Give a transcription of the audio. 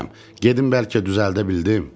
Gedin bəlkə düzəldə bildim?